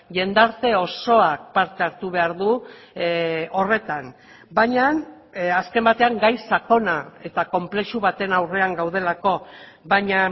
jendarte osoak parte hartu behar du horretan baina azken batean gai sakona eta konplexu baten aurrean gaudelako baina